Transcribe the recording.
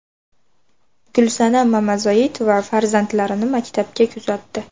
Gulsanam Mamazoitova farzandlarini maktabga kuzatdi.